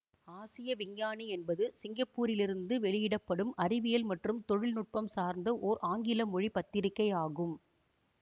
ஆசிய விஞ்ஞானி என்பது சிங்கப்பூரிலிருந்து வெளியிட படும் அறிவியல் மற்றும் தொழில்நுட்பம் சார்ந்த ஓர் ஆங்கில மொழி பத்திரிகை ஆகும்